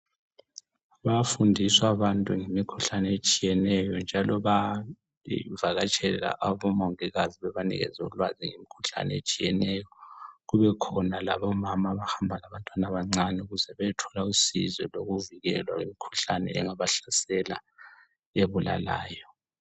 Bayafundiswa abantu ngemikhuhlane etshiyeneyo njalo bayavakatshela omongikazi bebanikeza ulwazi ngemikhuhlane etshiyeneyo. Kubekhona labomama abahamba labantwana abancane ukuze beyethola usizi lokuvikelwa imikhuhlane engaba hlasela ebulalayo.